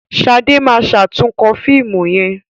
Shade ma ṣatunkọ fíìmù yén.